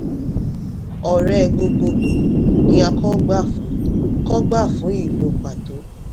ọrẹ gbogboogbò ni a kò gbà fún kò gbà fún ìlò pàtó.